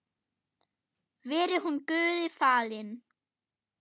Veri hún Guði falin.